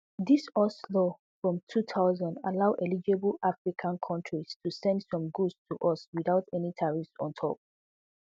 dis us law from two thousand allow eligible african kontris to send some goods to us without any tariffs on top